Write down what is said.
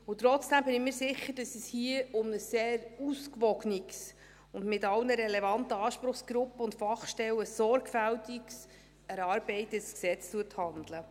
Und trotzdem bin ich mir sicher, dass es sich hier um ein sehr ausgewogenes und mit allen relevanten Anspruchsgruppen und Fachstellen sorgfältig erarbeitetes Gesetz handelt.